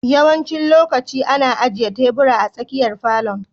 Yawancin lokaci ana ajiye tebur a tsakiyar falon.